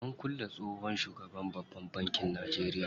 An kulle tsohon shugaban babban bankin Najeria.